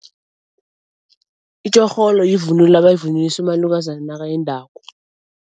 Itjorholo yivunulo abayivunulisa umalukazana nakayendako.